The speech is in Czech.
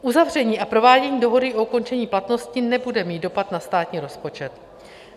Uzavření a provádění dohody o ukončení platnosti nebude mít dopad na státní rozpočet.